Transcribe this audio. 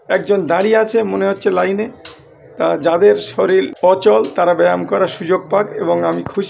একজন দাঁড়িয়ে আছে মনে হচ্ছে লাইনে তা যাদের শরীর অচল তারা ব্যায়াম করার সুযোগ পাক এবং আমি খুশ--